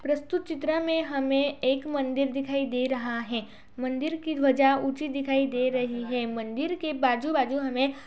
प्रस्तुत चित्रा में हमें एक मंदिर दिखाई दे रहा है | मंदिर की ध्वजा ऊचीं दिखाई दे रही है | मंदिर के बाजु- बाजु हमें--